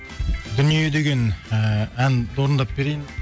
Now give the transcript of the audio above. дүние деген ііі ән орындап берейін